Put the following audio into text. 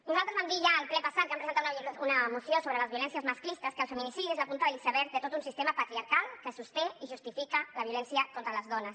nosaltres vam dir ja al ple passat que hi vam presentar una moció sobre les violències masclistes que el feminicidi és la punta de l’iceberg de tot un sistema patriarcal que sosté i justifica la violència contra les dones